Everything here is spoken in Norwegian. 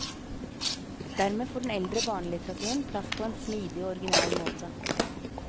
Dermed får den eldre barnelitteraturen plass på en smidig og original måte.